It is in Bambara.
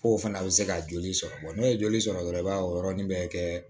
Fo fana a bɛ se ka joli sɔrɔ n'o ye joli sɔrɔ dɔrɔn i b'a o yɔrɔnin bɛɛ kɛ